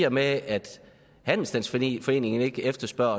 og med at handelsstandsforeningen ikke efterspørger